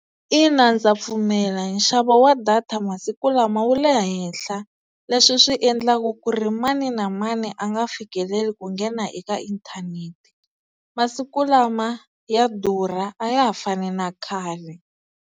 Ina ndza pfume nxavo wa data masiku lama wu le henhla, leswi swi endlaka ku ri mani na mani a nga fikeleli ku nghena eka inthanete. Masiku lama ya durha a ya ha fani na khale.